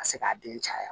Ka se k'a den caya